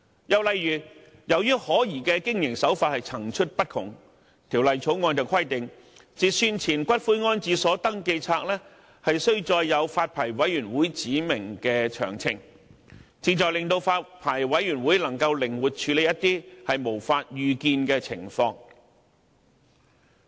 又例如，由於可疑的經營手法層出不窮，《條例草案》規定截算前的骨灰安置所登記冊須載有發牌委員會指明的詳情，旨在令發牌委員會能夠靈活處理一些無法預見的情況。